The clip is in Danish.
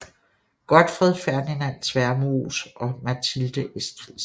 Godtfred Ferdinand Tvermoes og Mathilde Esskildsen